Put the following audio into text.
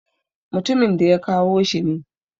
Mutumin da ya kawo shi ne.